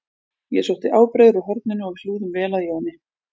Ég sótti ábreiður úr horninu og við hlúðum vel að Jóni